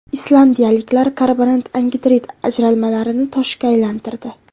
Islandiyaliklar karbonat angidrid ajralmalarini toshga aylantirdi.